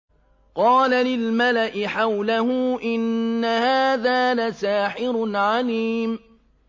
قَالَ لِلْمَلَإِ حَوْلَهُ إِنَّ هَٰذَا لَسَاحِرٌ عَلِيمٌ